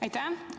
Aitäh!